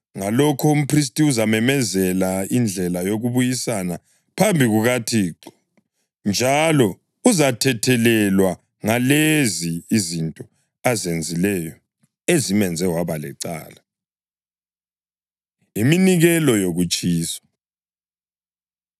Ngalokho umphristi uzamenzela indlela yokubuyisana phambi kukaThixo, njalo uzathethelelwa ngalezi izinto azenzileyo ezimenze waba lecala.” Iminikelo Yokutshiswa